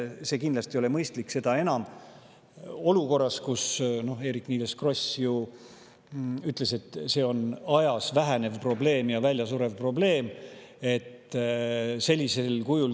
See kindlasti ei ole mõistlik, seda enam, et me oleme olukorras, nagu Eerik-Niiles Kross ju ütles, kus see on ajas vähenev ja väljasurev probleem.